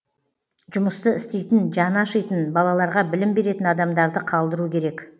жұмысты істейтін жаны ашитын балаларға білім беретін адамдарды қалдыру керек